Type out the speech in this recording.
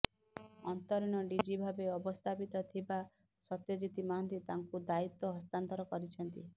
ଅନ୍ତରୀଣ ଡିଜି ଭାବେ ଅବସ୍ଥାପିତ ଥିବା ସତ୍ୟଜିତ୍ ମହାନ୍ତି ତାଙ୍କୁ ଦାୟିତ୍ବ ହସ୍ତାନ୍ତର କରିଛନ୍ତି